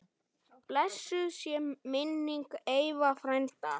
Blessuð sé minning Eyva frænda.